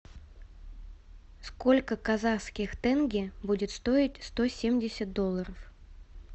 сколько казахских тенге будет стоить сто семьдесят долларов